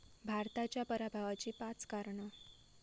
भारताच्या पराभवाची पाच कारणं